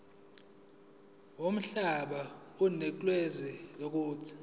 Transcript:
yomhlaba onikezwe lelo